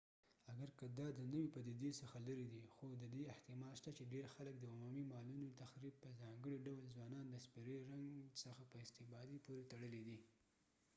اګر که دا د نوې پدیدې څخه لرې دی خو ددې احتمال شته چې ډیر خلک د عمومي مالونو تخریب په ځانګړي ډول ځوانان د سپرې رنګ څخه په استفادې پورې تړلی دی